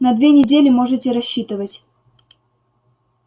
на две недели можете рассчитывать